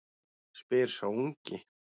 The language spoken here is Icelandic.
spyr sá ungi.